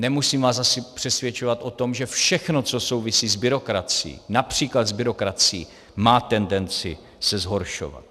Nemusím vás asi přesvědčovat o tom, že všechno, co souvisí s byrokracií, například s byrokracií, má tendenci se zhoršovat.